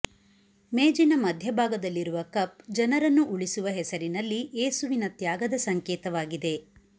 ಮೇಜಿನ ಮಧ್ಯಭಾಗದಲ್ಲಿರುವ ಕಪ್ ಜನರನ್ನು ಉಳಿಸುವ ಹೆಸರಿನಲ್ಲಿ ಯೇಸುವಿನ ತ್ಯಾಗದ ಸಂಕೇತವಾಗಿದೆ